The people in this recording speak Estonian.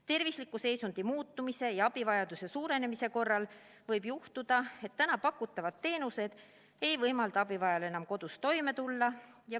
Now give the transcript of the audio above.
Tervisliku seisundi muutumise ja abivajaduse suurenemise korral võib juhtuda, et pakutavad teenused ei võimalda abivajajal enam kodus toime tulla.